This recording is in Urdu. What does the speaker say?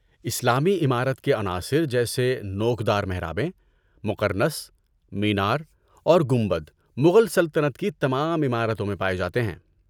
اسلامی عمارت کے عناصر جیسے نوک دار محرابیں، مقرنص، مینار، اور گنبد مغل سلطنت کی تمام عمارتوں میں پائے جاتے ہیں۔